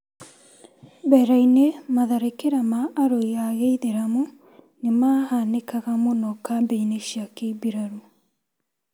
Mbere-inĩ matharĩkĩra ma arũi a gĩithĩramu nĩmahanĩkaga mũno kambĩ-inĩ cia kĩmbirarũ